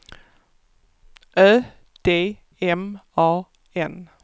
Ö D M A N